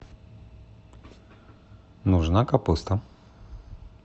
нужна капуста